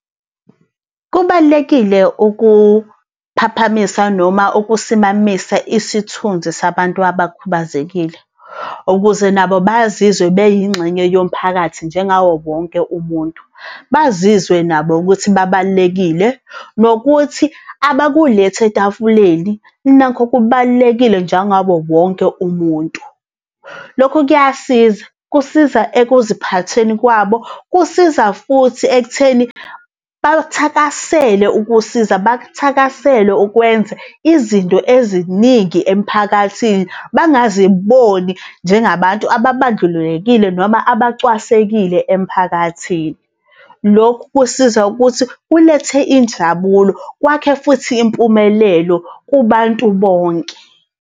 Kubalulekile ukuphaphamisa noma ukusimamisa isithunzi sabantu abakhubazekile, ukuze nabo bazizwe beyingxenye yomphakathi njengawo wonke umuntu. Bazizwe nabo ukuthi babalulekile, nokuthi abakuletha etafuleni nakho kubalulekile njengabo wonke umuntu. Lokhu kuyasiza, kusiza ekuziphatheni kwabo, kusiza futhi ekutheni bakuthakasele ukusiza, bakuthakasele ukwenza izinto eziningi emphakathini, bangaziboni njengabantu ababandlululekile noma abacwasekile emphakathini. Lokhu kusiza ukuthi kulethe injabulo kwakhe futhi impumelelo kubantu bonke.